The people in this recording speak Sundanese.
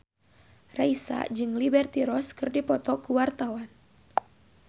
Raisa jeung Liberty Ross keur dipoto ku wartawan